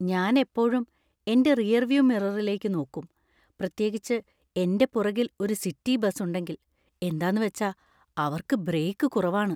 ഞാൻ എപ്പോഴും എന്‍റെ റിയർവ്യൂ മിററിലേക്ക് നോക്കും , പ്രത്യേകിച്ച് എന്‍റെ പുറകിൽ ഒരു സിറ്റി ബസ് ഉണ്ടെങ്കിൽ . എന്താന്നുവച്ചാ അവർക്ക് ബ്രേക്കു കുറവാണ്.